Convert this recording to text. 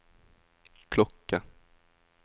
klokke